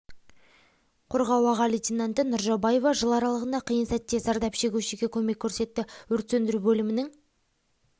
қорғау аға лейтенанты нұржаубаева жыл аралығында қиын сәтте зардап шегушіге көмек көрсетті өрт сөндіру бөлімінің